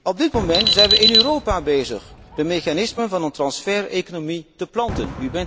Op dit moment zijn we in Europa bezig de mechanismen van een transfereconomie te planten.